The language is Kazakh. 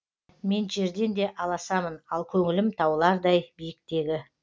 мен жерден де аласамын ал көңілім таулардай биіктегі